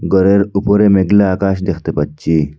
ঘরের উপরে মেঘলা আকাশ দেখতে পাচ্চি।